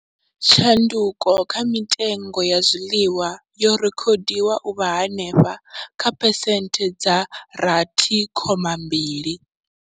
Tshanduko kha mitengo ya zwiḽiwa yo rekhodiwa u vha henefha kha phesenthe dza 6.2.